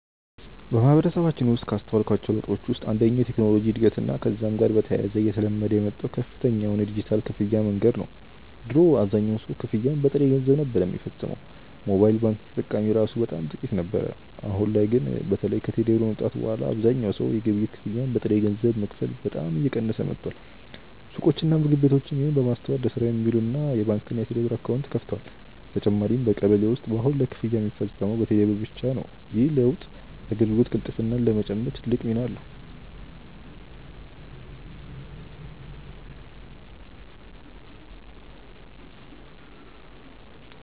በማህበረሰባችን ውስጥ ካስተዋልኳቸው ለውጦች ውስጥ አንደኛው የቴክኖሎጂ እድገትና ከዛም ጋር በተያያዘ እየተለመደ የመጣው ከፍተኛ የሆነ የዲጂታል ክፍያ መንገድ ነው። ድሮ አብዛኛው ሰው ክፍያን በጥሬ ገንዘብ ነበር ሚፈጽመው፤ ሞባይል ባንኪንግ ተጠቃሚ እራሱ በጣም ጥቂት ነበር። አሁን ላይ ግን በተለይ ከቴሌ ብር መምጣት በኋላ አብዛኛው ሰው የግብይት ክፍያን በጥሬ ገንዘብ መክፈል በጣም እየቀነሰ መጥቷል። ሱቆችና ምግብ ቤቶችም ይህንን በማስተዋል ለስራ የሚውል የባንክና የቴሌብር አካውንት ከፍተዋል። በተጨማሪም በቀበሌ ውስጥ በአሁን ላይ ክፍያ ሚፈጸመው በቴሌ ብር ብቻ ነው። ይህ ለውጥ የአገልግሎት ቅልጥፍናን ለመጨመር ትልቅ ሚና አለው።